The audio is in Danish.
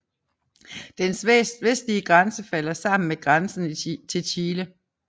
Dens vestlige grænse falder sammen med grænsen til Chile